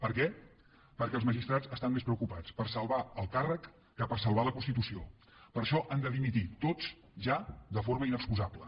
per què perquè els magistrats estan més preocupats per salvar el càrrec que per salvar la constitució per això han de dimitir tots ja de forma inexcusable